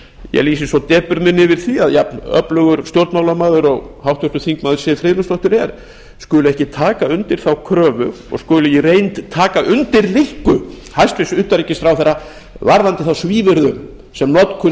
ég lýsi svo depurð minni yfir því að jafnöflugur stjórnmálamaður og háttvirtur þingmaður siv friðleifsdóttir er skuli ekki taka undir þá kröfu og skuli í reynd taka undir linku hæstvirts utanríkisráðherra varðandi þá svívirðu sem notkun